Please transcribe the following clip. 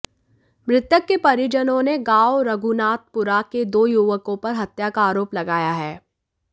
मृतक के परिजनों ने गांव रघुनाथपुरा के दो युवकों पर हत्या का आरोप लगाया है